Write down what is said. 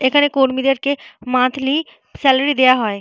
এখানে কর্মীদেরকে monthly salary দেওয়া হয়।